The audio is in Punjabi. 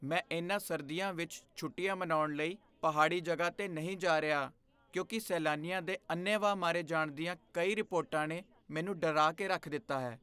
ਮੈਂ ਇਹਨਾਂ ਸਰਦੀਆਂ ਵਿੱਚ ਛੁੱਟੀਆਂ ਮਨਾਉਣ ਲਈ ਪਹਾੜੀ ਜਗ੍ਹਾ 'ਤੇ ਨਹੀਂ ਜਾ ਰਿਹਾ ਕਿਉਂਕਿ ਸੈਲਾਨੀਆਂ ਦੇ ਅੰਨ੍ਹੇਵਾਹ ਮਾਰੇ ਜਾਣ ਦੀਆਂ ਕਈ ਰਿਪੋਰਟਾਂ ਨੇ ਮੈਨੂੰ ਡਰਾ ਕੇ ਰੱਖ ਦਿੱਤਾ ਹੈ।